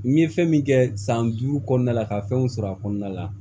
N ye fɛn min kɛ san duuru kɔnɔna la ka fɛnw sɔrɔ a kɔnɔna la